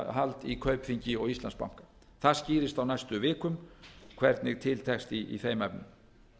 eignarhald í kaupþingi og íslandsbanka það skýrist á næstu vikum hvernig til tekst í þeim efnum